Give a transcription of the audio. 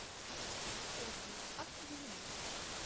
отзывы автоювелир